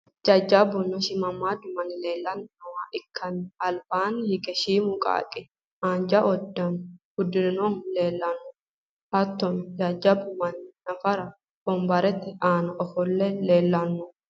jajjabbunna shiimmaaddu manni leelanni nooha ikkanna, albaanni hige shiimu qaaqqi haanja uddano uddirinohu leelanno. hattono jajjabbu manni nafara wombarete aana ofolle leelanno.